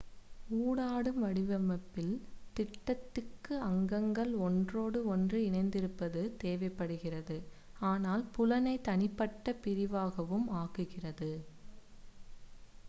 ஊடாடும் வடிவமைப்பில் திட்டத்திற்கு அங்கங்கள் ஒன்றோடு ஒன்று இணைந்திருப்பது தேவைப்படுகிறது ஆனால் புலனை தனிப்பட்ட பிரிவாகவும் ஆக்குகிறது